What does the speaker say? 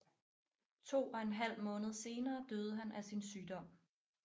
To og en halv måned senere døde han af sin sygdom